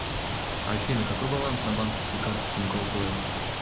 афина какой баланс на банковской карте тинькофф блэк